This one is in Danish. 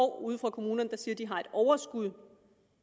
år ude fra kommunerne der siger at de har et overskud